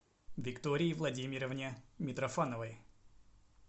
виктории владимировне митрофановой